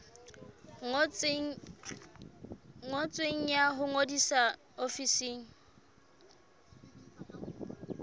ngotsweng ya ho ngodisa ofising